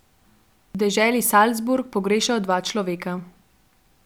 V deželi Salzburg pogrešajo dva človeka.